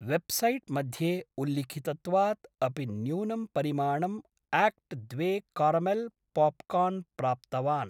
Website मध्ये उल्लिखितत्वात् अपि न्यूनं परिमाणं आक्ट् द्वे कारमेल् पोप्कार्न् प्राप्तवान्।